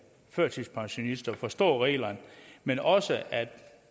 førtidspensionist at forstå reglerne men også at